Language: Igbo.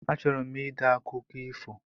A chọrọ m ide akụkọ ifo